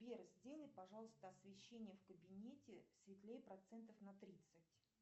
сбер сделай пожалуйста освещение в кабинете светлее процентов на тридцать